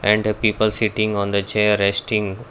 and the people sitting on the chair resting.